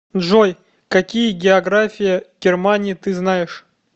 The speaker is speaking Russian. джой какие география германии ты знаешь